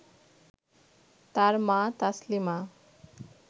তার মা তাসলিমা